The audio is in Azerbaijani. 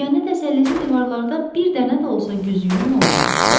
Yeganə təsəllisi divarlarda bir dənə də olsa güzgünün olmaması idi.